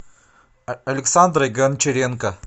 александрой гончаренко